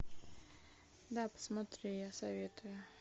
да посмотри я советую